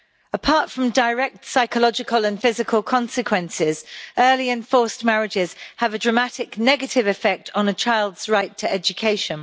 Apart from direct psychological and physical consequences, early and forced marriages have a dramatic negative effect on a child's right to education.